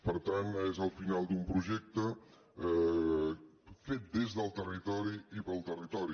per tant és el final d’un projecte fet des del territori i pel territori